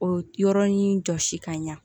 O yɔrɔnin jɔsi ka ɲa